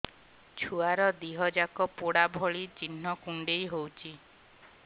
ଛୁଆର ଦିହ ଯାକ ପୋଡା ଭଳି ଚି଼ହ୍ନ କୁଣ୍ଡେଇ ହଉଛି